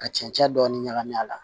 Ka cɛncɛn dɔɔni ɲagami a la